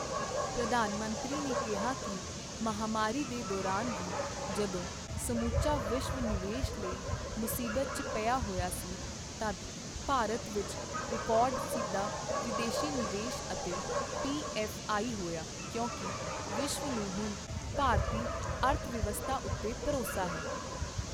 ਪ੍ਰਧਾਨ ਮੰਤਰੀ ਨੇ ਕਿਹਾ ਕਿ ਮਹਾਮਾਰੀ ਦੇ ਦੌਰਾਨ ਵੀ, ਜਦੋਂ ਸਮੁੱਚਾ ਵਿਸ਼ਵ ਨਿਵੇਸ਼ ਲਈ ਮੁਸੀਬਤ ਚ ਪਿਆ ਹੋਇਆ ਸੀ, ਤਦ ਭਾਰਤ ਵਿੱਚ ਰਿਕਾਰਡ ਸਿੱਧਾ ਵਿਦੇਸ਼ੀ ਨਿਵੇਸ਼ ਅਤੇ ਪੀਐੱਫ਼ਆਈ ਹੋਇਆ ਕਿਉਂਕਿ ਵਿਸ਼ਵ ਨੂੰ ਹੁਣ ਭਾਰਤੀ ਅਰਥਵਿਵਸਥਾ ਉੱਤੇ ਭਰੋਸਾ ਹੈ।